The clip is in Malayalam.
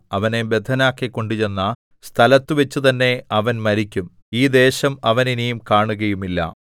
അവനെ ബദ്ധനാക്കി കൊണ്ടുചെന്ന സ്ഥലത്തുവച്ചു തന്നെ അവൻ മരിക്കും ഈ ദേശം അവൻ ഇനി കാണുകയുമില്ല